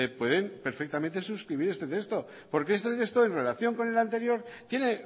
pueden perfectamente suscribir este texto porque este texto en relación con el anterior tiene